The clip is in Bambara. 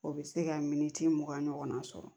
O bɛ se ka miniti mugan ɲɔgɔnna sɔrɔ